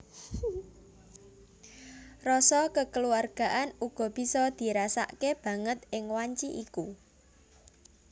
Rasa kekeluargaan uga bisa dirasakke banget ing wanci iku